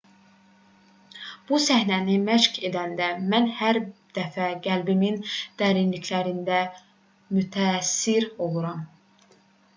bu səhnəni məşq edəndə mən hər dəfə qəlbimin dərinliklərində mütəəssir oluram